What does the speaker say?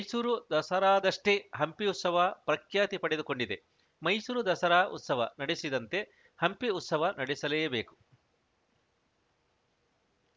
ಮೈಸೂರು ದಸರಾದಷ್ಟೇ ಹಂಪಿ ಉತ್ಸವ ಪ್ರಖ್ಯಾತಿ ಪಡೆದುಕೊಂಡಿದೆ ಮೈಸೂರು ದಸರಾ ಉತ್ಸವ ನಡೆಸಿದಂತೆ ಹಂಪಿ ಉತ್ಸವ ನಡೆಸಲೇಬೇಕು